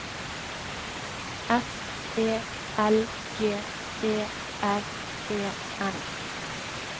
S E L G E R E N